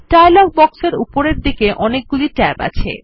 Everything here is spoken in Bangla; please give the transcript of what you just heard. ডায়লগ বক্সের উপরে দিকে অনেক গুলো ট্যাব আছে